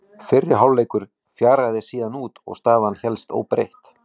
Fóstbróðir hans var Klængur Bjarnason, fóstri Snorra.